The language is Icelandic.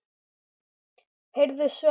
Heyrðu, Svenni.